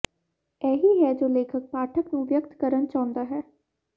ਇਹ ਹੀ ਹੈ ਜੋ ਲੇਖਕ ਪਾਠਕ ਨੂੰ ਵਿਅਕਤ ਕਰਨ ਚਾਹੁੰਦਾ ਹੈ